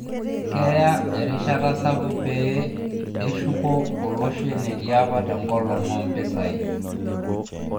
Keya erishata sapuk pee eshuko olosho enetii apa tengolon oo mpisai